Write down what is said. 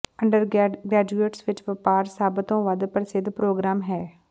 undergraduates ਵਿਚ ਵਪਾਰ ਸਭ ਤੋਂ ਵੱਧ ਪ੍ਰਸਿੱਧ ਪ੍ਰੋਗਰਾਮ ਹੈ